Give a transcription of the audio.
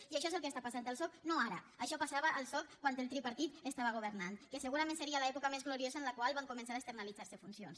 i això és el que està passant al soc no ara això passava al soc quan el tripartit estava governant que segurament seria l’època més gloriosa en la qual van començar a externalitzar se funcions